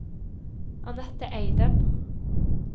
Annette Eidem